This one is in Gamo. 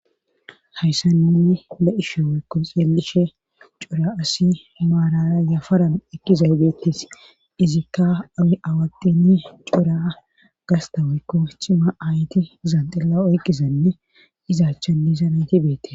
Hayssanni le7ishe waykko xeelishe cura asi maalara yafaran ekkizay beettis izikka awi awadini curaa gasta woykko chima ayti zanxilla oyqqizanne izaachchanni zanayti beette.